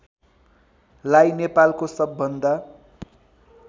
लाई नेपालको सबभन्दा